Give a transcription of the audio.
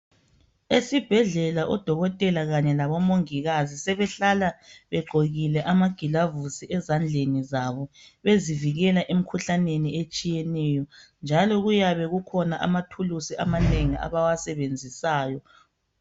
Esibhedlela odokotela kanye labomongikazi sebehlala begqokile amagilovisi ezandleni zabo bezivikela emikhuhlaneni etshiyeneyo njalo kuyabe kukhona amathulusi amanengi abawasebenzisayo.